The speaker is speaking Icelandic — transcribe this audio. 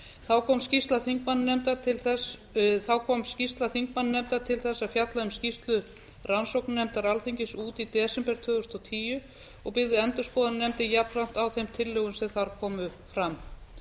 þá kom skýrsla þingmannanefndar til þess að fjalla um skýrslu rannsóknarnefndar alþingis út í desember tvö þúsund og tíu og byggði endurskoðunarnefndin jafnframt á þeim tillögum sem þar komu fram